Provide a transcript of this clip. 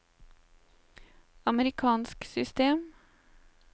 amerikansk system